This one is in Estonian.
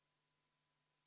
Lugupeetud Riigikogu!